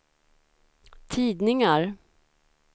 tidningar